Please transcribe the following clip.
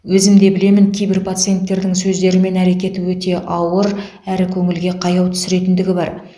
өзімде білемін кейбір пациенттердің сөздері мен әрекеті өте ауыр әрі көңілге қаяу түсіретіндігі бар